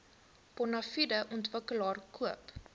bonafide ontwikkelaar koop